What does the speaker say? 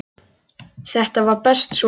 Þetta var best svona.